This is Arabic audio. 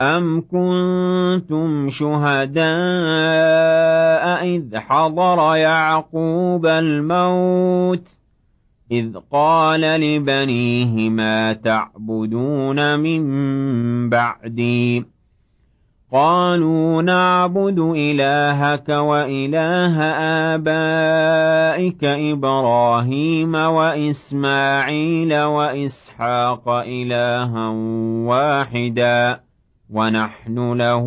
أَمْ كُنتُمْ شُهَدَاءَ إِذْ حَضَرَ يَعْقُوبَ الْمَوْتُ إِذْ قَالَ لِبَنِيهِ مَا تَعْبُدُونَ مِن بَعْدِي قَالُوا نَعْبُدُ إِلَٰهَكَ وَإِلَٰهَ آبَائِكَ إِبْرَاهِيمَ وَإِسْمَاعِيلَ وَإِسْحَاقَ إِلَٰهًا وَاحِدًا وَنَحْنُ لَهُ